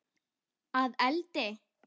Að eldi?